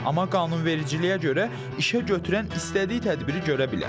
Amma qanunvericiliyə görə işəgötürən istədiyi tədbiri görə bilər.